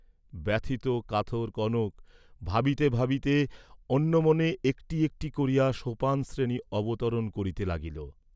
ব্যথিত কাতর কনক ভাবিতে ভাবিতে, অন্যমনে একটি একটি করিয়া সোপানশ্রেণী অবতরণ করিতে লাগিল।